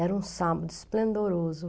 Era um sábado esplendoroso.